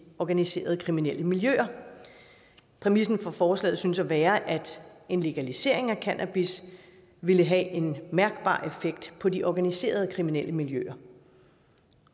organiserede kriminelle miljøer præmissen for forslaget synes at være at en legalisering af cannabis vil have en mærkbar effekt på de organiserede kriminelle miljøer